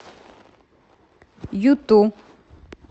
юту